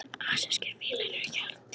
Asískir fílar eru hjarðdýr.